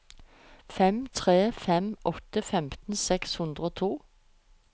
fem tre fem åtte femten seks hundre og to